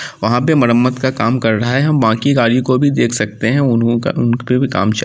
वहां पे मरम्मत का काम कर रहे हैं हम बाकि गाड़ियों को भी देख सकते उन उन उनपे भी काम च --